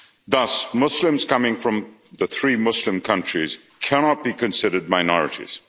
Thus, Muslims coming from those three Muslim countries cannot be considered minorities.